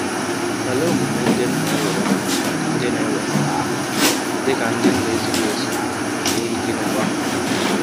Olee omume ndị m na-ewere dị na-ewere dị ka ndị na-ezighị ezi, n’ihi gịnịkwa?